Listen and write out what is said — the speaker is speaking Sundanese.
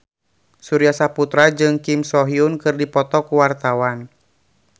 Surya Saputra jeung Kim So Hyun keur dipoto ku wartawan